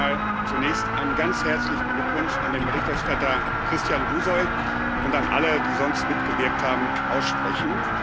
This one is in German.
Ich möchte zunächst mal einen ganz herzlichen Glückwunsch an den Berichterstatter Christian Buşoi und an alle, die sonst mitgewirkt haben, aussprechen.